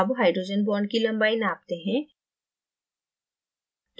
अब hydrogen bond की लम्बाई नापते हैं